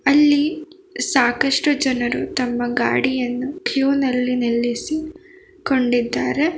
ಇಲ್ಲಿ ಸಾಕಷ್ಟು ಜನರು ತಮ್ಮ ಗಾಡಿಯನ್ನು ಕ್ಯೂ ನಲ್ಲಿ ನಿಲ್ಲಿಸಿ ಕೊಂಡಿದ್ದಾರೆ.